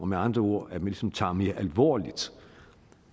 med andre ord ligesom tager det mere alvorligt